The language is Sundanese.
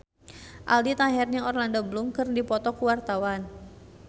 Aldi Taher jeung Orlando Bloom keur dipoto ku wartawan